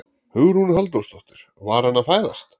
Hugrún Halldórsdóttir: Var hann að fæðast?